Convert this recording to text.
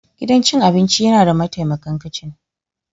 Gidan cin abinci yana da mataimakan kicin.